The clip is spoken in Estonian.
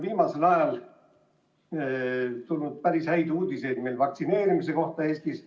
Viimasel ajal on tulnud päris häid uudiseid Eestis korraldatava vaktsineerimise kohta.